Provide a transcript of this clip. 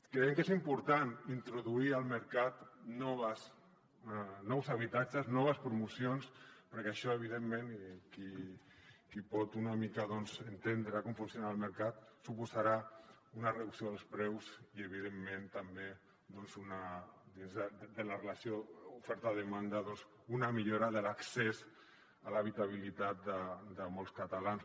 creiem que és important introduir al mercat nous habitatges noves promocions perquè això evidentment qui pot una mica doncs entendre com funciona el mercat suposarà una reducció dels preus i evidentment també de la relació oferta demanda una millora de l’accés a l’habitabilitat de molts catalans